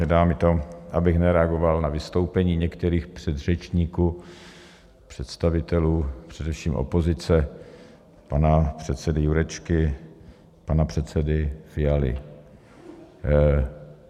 Nedá mi to, abych nereagoval na vystoupení některých předřečníků, představitelů především opozice, pana předsedy Jurečky, pana předsedy Fialy.